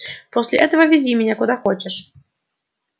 после этого веди меня куда хочешь